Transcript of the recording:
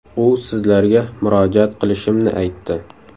U sizlarga murojaat qilishimni aytdi.